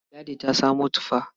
Ladi ta samo tufa.